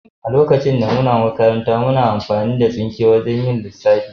A lokacin da muke makaranta, muna amfani da tsinke wajan yin lissafi.